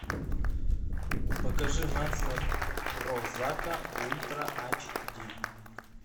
покажи нация прозака ультра ач ди